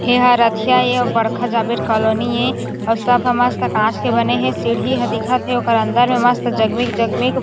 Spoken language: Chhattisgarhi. यह राथीया ये बड़खा जाबेर कॉलोनी ए अउ सब ह मस्त कांच के बने हे सीढ़ी ह दिखत हे ओकर अंदर में मस्त जगमिग जगमिग-